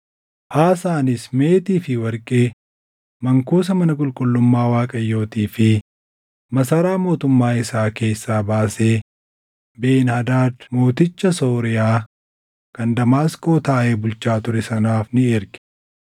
Aasaanis meetii fi warqee mankuusa mana qulqullummaa Waaqayyootii fi masaraa mootummaa isaa keessaa baasee Ben-Hadaad mooticha Sooriyaa kan Damaasqoo taaʼee bulchaa ture sanaaf ni erge.